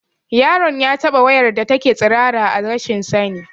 Yaron ya taɓa wayar da take tsirara a rashin sani